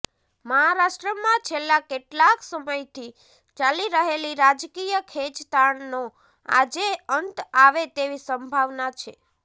મહારાષ્ટ્રમાં છેલ્લા કેટલાક સમયથી ચાલી રહેલી રાજકીય ખેંચતાણનો આજેે અંત આવે તેવી સંભાવના છે